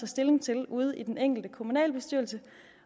stilling til ude i den enkelte kommunalbestyrelse